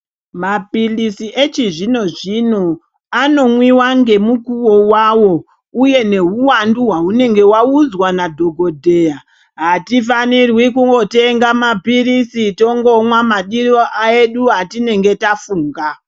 Mapirizi echizvino zvino anomwiwa ngemukuwo wavo uye nehuwandu waunenge waudzwa nadhokodheya. Hatifaniri kungotenga mapirizi tongomwa madiro edu etinenge tafunga.